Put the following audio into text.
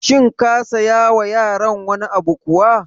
Shin ka siya wa yaran wani abu kuwa?